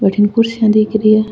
भटीन कुर्सियां दिख री है।